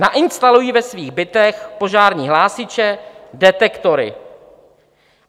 Nainstalují ve svých bytech požární hlásiče, detektory.